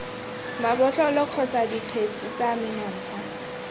mabotlolo kgotsa dikgetse tse menontsha